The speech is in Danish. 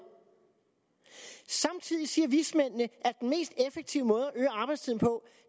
samtidig siger vismændene at den mest effektive måde at øge arbejdstiden på